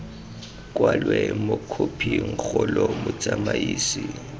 kwalwe mo khophing kgolo motsamaisi